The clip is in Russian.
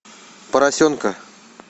поросенка